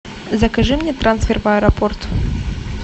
закажи мне трансфер в аэропорт